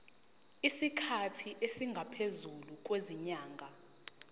isikhathi esingaphezulu kwezinyanga